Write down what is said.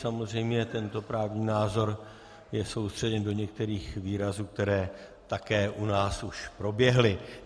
Samozřejmě tento právní názor je soustředěn do některých výrazů, které také u nás už proběhly.